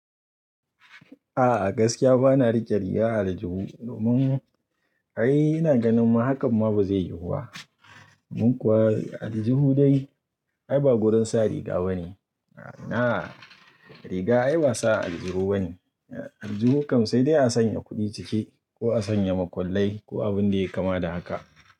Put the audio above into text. A gaskiya bana rike rigar Aljihu domin ai ina ganin ma haka ma ba zai yiwu ba. Mun kuwa Aljihu dai ai ba gurin sa riga ba ne. Na riga ai ba sa Aljihu ba ne. Aljihu kam sai dai a sanya kuɗi ciki ko a sanya makullai ko abin da ya kama da haka.